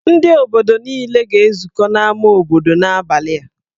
Ndị obodo niile ga-ezukọ n'ámá obodo n'abalị a.